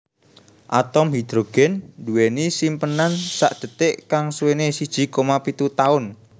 Atom hidrogen duweni simpenan sakdetik kang suwene siji koma pitu taun